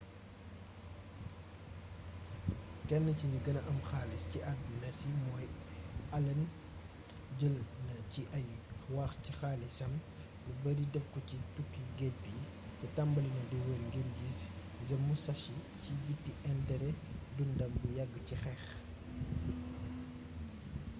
ken ci gni guena am xaalis ci aduna si modi allen jeulna ci ay waax ci xaalissam lu beurri defko ci touki guedj bi té tambalina di weur ngir guiss the musashi ci biti interé dundam bu yagg ci xeex